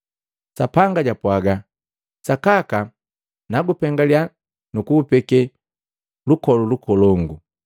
Sapanga japwaga: “Sakaka nakupengeliya nuku kupeke lukolu lukolongu.”